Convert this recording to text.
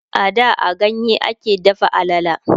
a da a ganye a ke dafa alala